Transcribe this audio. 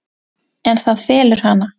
En það felur hana.